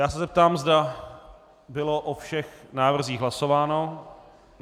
Já se zeptám, zda bylo o všech návrzích hlasováno.